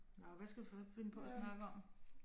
Nåh hvad skal vi så finde på at snakke om